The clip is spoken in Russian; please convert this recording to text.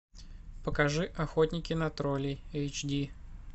покажи охотники на троллей эйч ди